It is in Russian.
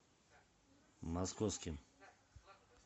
московским